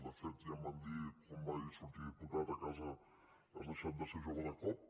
de fet ja em van dir quan vaig sortir diputat a casa has deixat de ser jove de cop